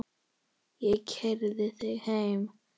Ég keyri þig heim.